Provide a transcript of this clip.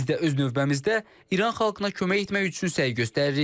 Biz də öz növbəmizdə İran xalqına kömək etmək üçün səy göstəririk.